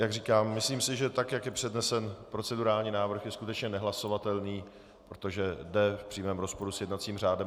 Jak říkám, myslím si, že tak jak je přednesen procedurální návrh, je skutečně nehlasovatelný, protože jde v přímém rozporu s jednacím řádem.